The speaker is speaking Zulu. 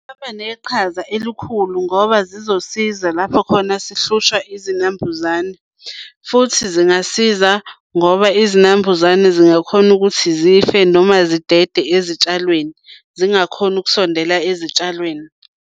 neqhaza elikhulu ngoba zizosiza lapho khona sihlushwa izinambuzane futhi zingasiza ngoba izinambuzane zingakhona ukuthi zife noma zidede ezitshalweni zingakhoni ukusondela ezitshalweni.